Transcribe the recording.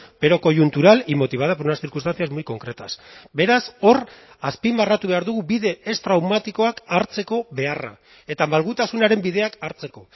pero coyuntural y motivada por unas circunstancias muy concretas beraz hor azpimarratu behar dugu bide ez traumatikoak hartzeko beharra eta malgutasunaren bideak hartzeko